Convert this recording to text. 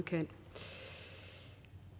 kan